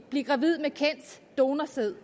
blive gravid med kendt donorsæd